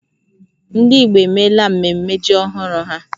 Ndị Igbo emela mmemme ji ọhụrụ ha